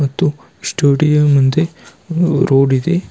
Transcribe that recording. ಮತ್ತು ಸ್ಟುಡಿಯೋ ಮುಂದೆ ರೋಡ್ ಇದೆ.